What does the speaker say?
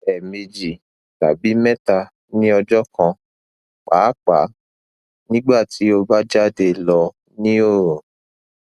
ẹẹmeji tabi mẹta ni ọjọ kan paapaa nigbati o ba jade lọ ni oorun